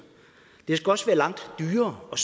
det skal også være langt dyrere og